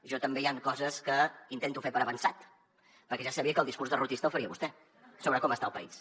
jo també hi han coses que intento fer per avançat perquè ja sabia que el discurs derrotista el faria vostè sobre com està el país